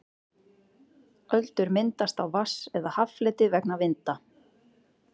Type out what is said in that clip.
öldur myndast á vatns eða haffleti vegna vinda